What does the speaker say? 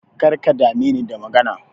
Karka dame ni da magana.